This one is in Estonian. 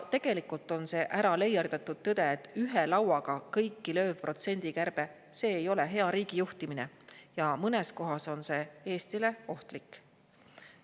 Tegelikult on see äraleierdatud tõde, et ühe lauaga kõiki lööv protsendikärbe ei ole hea riigijuhtimine ja mõnes kohas on see Eestile ohtlik.